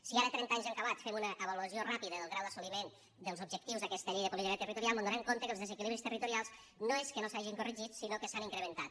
si ara trenta anys en acabat fem una avaluació ràpida del grau d’assoliment dels objectius d’aquesta llei de política territorial mos adonem que els desequilibris territorials no és que no s’hagin corregit sinó que s’han incrementat